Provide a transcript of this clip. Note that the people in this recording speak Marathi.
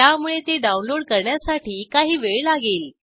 त्यामुळे ती डाऊनलोड करण्यासाठी काही वेळ लागेल